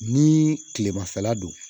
Ni kilemafɛla don